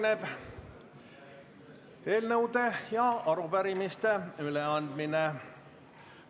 Nüüd on eelnõude ja arupärimiste üleandmise aeg.